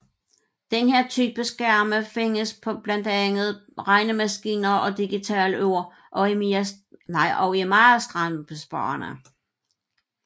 Denne type skærme findes på blandt andet på regnemaskiner og digitalure og er meget strømbesparende